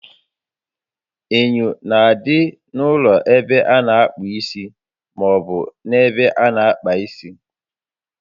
Enyo na-adị n'ụlọ ebe a na akpụ isi maọbụ n'ebe ana àkpà isi